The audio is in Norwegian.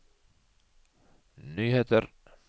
nyheter